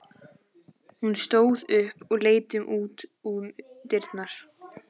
Hún stóð upp og leit út um dyrnar.